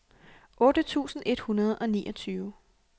otte tusind et hundrede og niogtyve